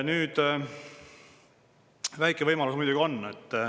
Väike võimalus muidugi on.